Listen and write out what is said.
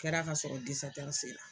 Kɛra ka sɔrɔ sera.